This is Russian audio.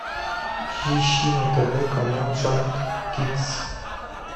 ищи на тв канал шант кидс